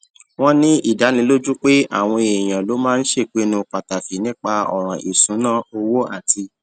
wón ní ìdánilójú pé àwọn èèyàn ló máa ń ṣèpinnu pàtàkì nípa òràn ìṣúnná owó àti